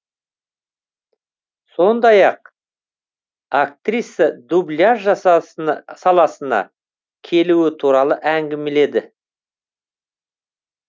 сондай ақ актриса дубляж саласына келуі туралы әңгімеледі